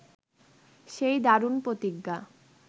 সেই দারুণ প্রতিজ্ঞা